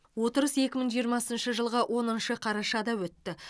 отырыс екі мың жиырмасыншы жылғы оныншы қарашада өтті